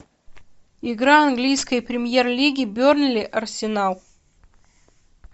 игра английской премьер лиги бернли арсенал